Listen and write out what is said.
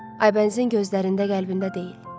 Aybənizin gözlərində qəlbində deyil.